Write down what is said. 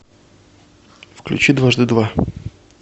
включи дважды два